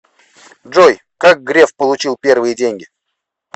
джой как греф получил первые деньги